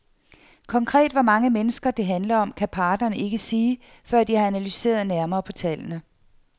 Konkret hvor mange mennesker, det handler om, kan parterne ikke sige, før de har analyseret nærmere på tallene.